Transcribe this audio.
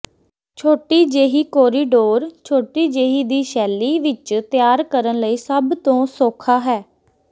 ਛੋਟੀ ਜਿਹੀ ਕੋਰੀਡੋਰ ਛੋਟੀ ਜਿਹੀ ਦੀ ਸ਼ੈਲੀ ਵਿਚ ਤਿਆਰ ਕਰਨ ਲਈ ਸਭ ਤੋਂ ਸੌਖਾ ਹੈ